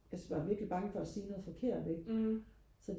jeg er bare virkelig bare for at sige noget forkert ikke